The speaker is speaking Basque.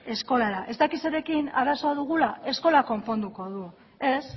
eskolara ez dakit zerekin arazoa dugula eskolak konponduko du ez